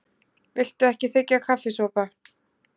Viltu ekki þiggja kaffisopa?